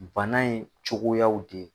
Bana in cogoyaw de